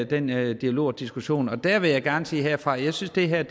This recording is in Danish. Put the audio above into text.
den dialog og diskussion og dér vil jeg gerne sige herfra at jeg synes det her